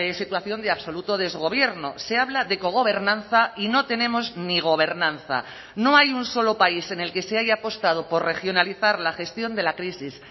situación de absoluto desgobierno se habla de cogobernanza y no tenemos ni gobernanza no hay un solo país en el que se haya apostado por regionalizar la gestión de la crisis